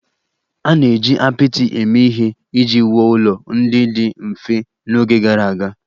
A na-eji apịtị eme ihe iji wuo ụlọ ndị dị mfe n'oge gara aga